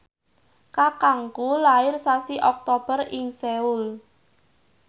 kakangku lair sasi Oktober ing Seoul